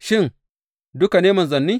Shin, duka ne manzanni?